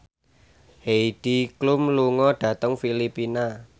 Heidi Klum lunga dhateng Filipina